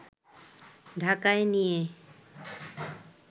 ঢাকায় নিয়ে